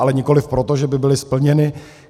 Ale nikoliv proto, že by byly splněny.